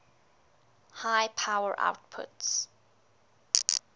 high power outputs